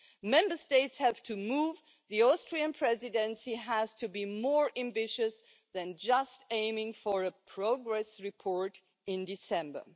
Member States have to move and the Austrian Presidency has to be more ambitious than just aiming for a progress report in December.